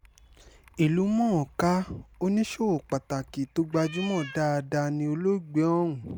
ìlú-mọ̀-ọ́n-kà oníṣòwò pàtàkì tó gbajúmọ̀ dáadáa ni olóògbé ọ̀hún